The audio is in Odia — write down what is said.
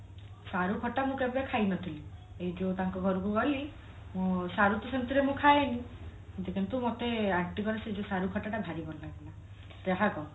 ସାରୁ ଖାତା ମୁଁ କେବେ ଖାଇ ନଥିଲି ଏଇ ଯୋଉ ତାଙ୍କ ଘରକୁ ଗଲି ମୁଁ ସାରୁ ତ ସେମତି ରେ ମୁଁ ଖାଏନି କିନ୍ତୁ ମତ aunty ଙ୍କ ର ସେ ଯୋଉ ସାରୁ ଖଟା ଟା ଭାରି ଭଲ ଲାଗେ ଯାହା କହ